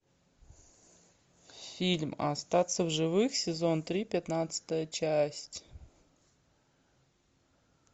фильм остаться в живых сезон три пятнадцатая часть